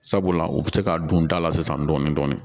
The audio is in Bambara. Sabula u bɛ se ka don da la sisan dɔɔni dɔɔni dɔɔni